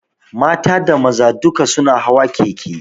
Mata da maza duk su na hawa keke